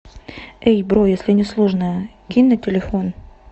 эй бро если не сложно кинь на телефон